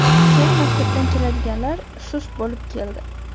keyin maktabdan keladiganlar sust bo‘lib keldi.